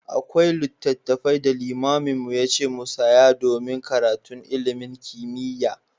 Akwai littafai da malamin mu yace mu saya domin karatun ilimin kimiyya.